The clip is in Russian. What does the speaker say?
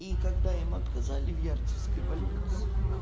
и когда им отказали в ярцевской больницы